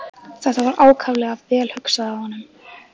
Þetta var ákaflega vel hugsað af honum.